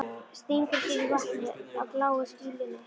Stingur sér í vatnið á bláu skýlunni.